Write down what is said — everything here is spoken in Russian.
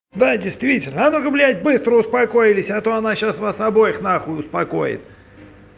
да действительно а ну ка блядь быстро успокоились а то она сейчас вас обоих нахуй успокоит